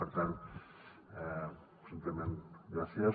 per tant simplement gràcies